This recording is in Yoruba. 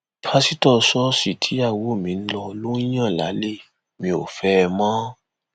pásítọ ṣọọṣì tíyàwó mi ń lọ ló ń yàn lálẹ mi ò fẹ ẹ mọ